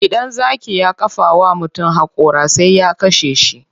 Idan zaki ya kafa wa mutum haƙora sai ya kashe shi.